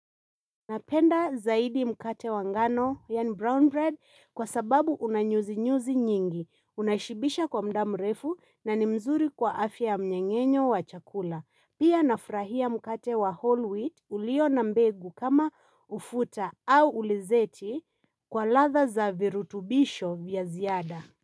Napenda zaidi mkate wa ngano, yani brown bread, kwa sababu unanyuzi nyuzi nyingi. Unashibisha kwa mdam refu na ni mzuri kwa afya mnyengenyo wa chakula. Pia nafrahia mkate wa whole wheat ulio na mbegu kama ufuta au ulezeti kwa latha za virutubisho vya ziada.